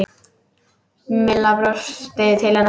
Milla brosti til hennar.